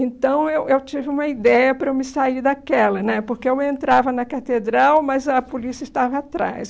Então, eu eu tive uma ideia para eu me sair daquela né, porque eu entrava na catedral, mas a polícia estava atrás.